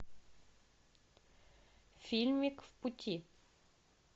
фильмик в пути